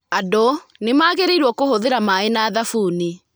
Andũ nĩ magĩrĩirũo kũhũthĩra maĩ na thabuni.